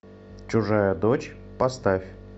чужая дочь поставь